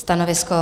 Stanovisko?